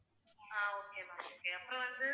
ஆஹ் okay ma'am okay அப்புறம் வந்து